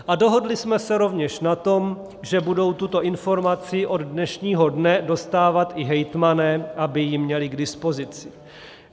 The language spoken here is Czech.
A dohodli jsme se rovněž na tom, že budou tuto informaci od dnešního dne dostávat i hejtmani, aby ji měli k dispozici.